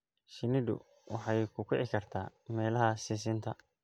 Shinnidu waxay ku kici kartaa meelaha sisinta.